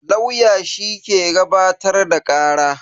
Lauya shi ke gabatar da kara.